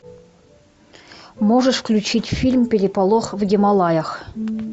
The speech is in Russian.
можешь включить фильм переполох в гималаях